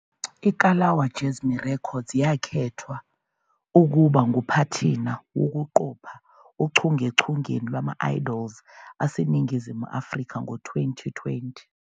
IKalawa Jazmee Records yakhethwa ukuba nguphathina wokuqopha ochungechungeni lwama- Idols aseNingizimu Afrika ngo-2020